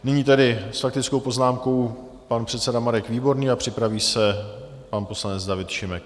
Nyní tedy s faktickou poznámkou pan předseda Marek Výborný a připraví se pan poslanec David Šimek.